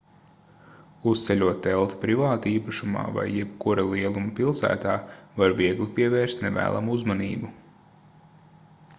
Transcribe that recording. uzceļot telti privātīpašumā vai jebkura lieluma pilsētā var viegli pievērst nevēlamu uzmanību